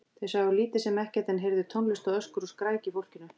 Þau sáu lítið sem ekkert, en heyrðu tónlist og öskur og skræki í fólkinu.